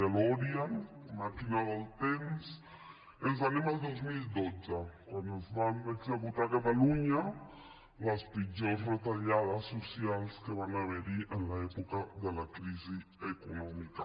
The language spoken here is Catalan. delorean màquina del temps i anem al dos mil dotze quan es van executar a catalunya les pitjors retallades socials que van haver hi a l’època de la crisi econòmica